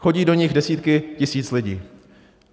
Chodí do nich desítky tisíc lidí.